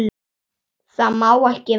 Það má ekki verða.